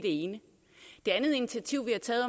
det ene det andet initiativ vi har taget